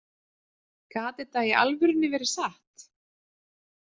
Gat þetta í alvörunni verið satt?